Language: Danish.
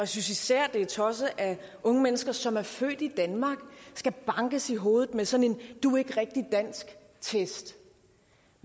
synes især det er tosset at unge mennesker som er født i danmark skal bankes i hovedet med sådan en du er ikke rigtig dansk test